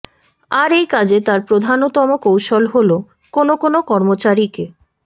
আর এই কাজে তাঁর প্রধানতম কৌশল হলো কোনো কোনো কর্মচারীকে